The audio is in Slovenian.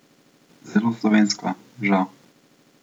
Zelo slovensko, žal.